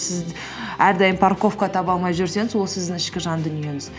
сіз әрдайым парковка таба алмай жүрсеңіз ол сіздің ішкі жан дүниеңіз